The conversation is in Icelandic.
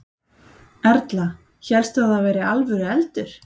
Erla: Hélstu að það væri alvöru eldur?